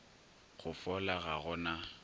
go fola ga go na